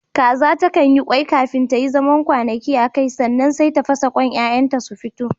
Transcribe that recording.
kaza takan yi ƙwai fafin ta yi zaman kwanaki akai, sannan sai ta fasa ƙwanta 'ya'yan ta su fito